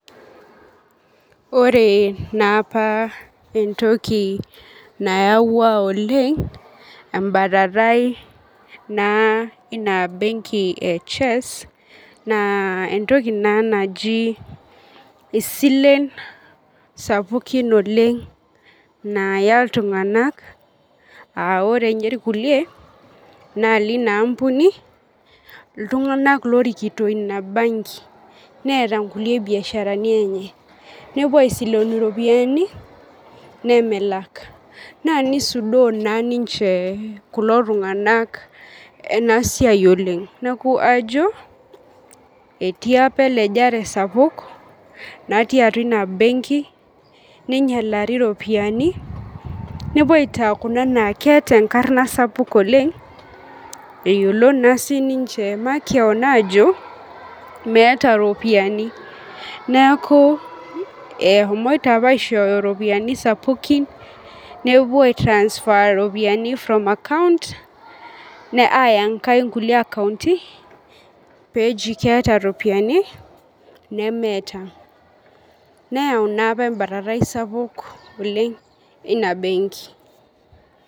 Ore naapa entoki nayawua oleng embatatai naa inabenki e chess na entoki naji isilen sapukin oleng naya ltunganak aa ore kulie na lina ampuni ltunganak orikito inabenki netii nkulie biasharani enye nepuo aisilen iropiyiani nemelak na nisudoo ninche kulo tunganak enasiai oleng neaku ajo etii apa elejare sapuk natii atua inabenkininyanaliri keeta enkarna sapuk oleng eyiolo naa openy ajo meeta ropiyani neakubeshomoita apa ishooyo ropiyani sapukin nepuo ai transfer ropiyani from account ya aya enkae neemeeta ropiyani.